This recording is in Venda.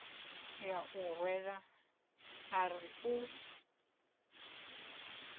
ya u rwela ari u